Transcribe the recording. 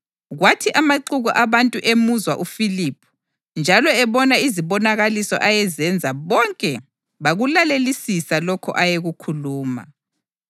Kwathi amaxuku abantu emuzwa uFiliphu njalo ebona izibonakaliso ayezenza bonke bakulalelisisa lokho ayekukhuluma.